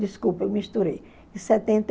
Desculpa, eu misturei. Setenta